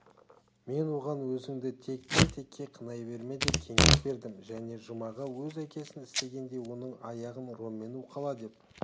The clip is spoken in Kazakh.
мен оған өзіңді тектен текке қинай берме деп кеңес бердім және жұмаға өз әкесіне істегендей оның аяғын роммен уқала деп